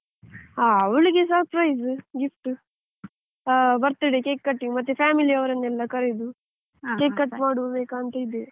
ಹ ಅವಳಿಗೆ surprise gift birthday cake cutting ಮತ್ತೆ family ಅವರೆನ್ನೆಲ್ಲಾ ಕರೆದು ಸರಿ cake cut ಮಾಡ್ಬೇಕಂತ ಇದ್ದೇವೆ.